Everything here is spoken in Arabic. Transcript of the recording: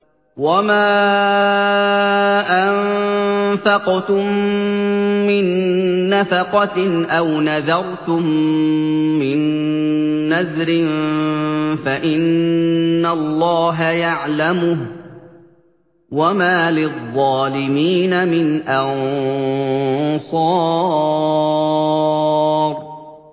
وَمَا أَنفَقْتُم مِّن نَّفَقَةٍ أَوْ نَذَرْتُم مِّن نَّذْرٍ فَإِنَّ اللَّهَ يَعْلَمُهُ ۗ وَمَا لِلظَّالِمِينَ مِنْ أَنصَارٍ